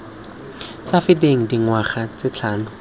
sa feteng dingwaga tse tlhano